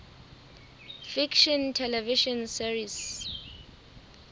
fiction television series